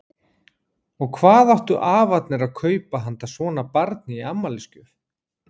Og hvað áttu afarnir að kaupa handa svona barni í afmælisgjöf?